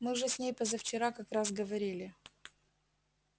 мы же с ней позавчера как раз говорили